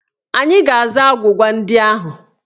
Anyị ga-aza agwụgwa ndị ahụ.